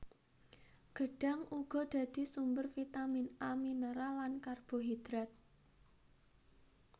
Gedhang uga dadi sumber vitamin A minêral lan karbohidrat